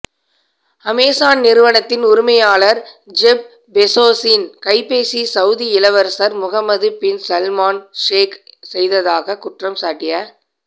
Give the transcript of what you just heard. Amazon நிறுவதின் உரிமையாளர் Jeff பெஸோஸின் கைபேசி சவுதி இளவரசர் முகமது பின் சல்மான் ஹேக் செய்ததாக குற்றம்சாட்டிய